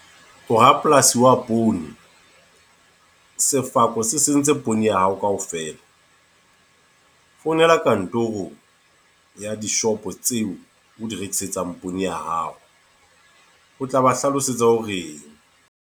O rapolasi wa poone. Sefako se sentse poone ya hao kaofela. Founela kantorong ya dishopo tseo o di rekisetsang poone ya hao. O tla ba hlalosetsa hore.